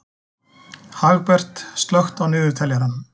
Hagbert, slökktu á niðurteljaranum.